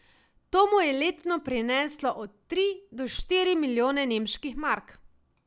To mu je letno prineslo od tri do štiri milijone nemških mark.